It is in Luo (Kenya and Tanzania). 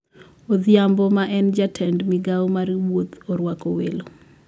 Odhiambo ma en ja tend migao mar wuoth oruako welo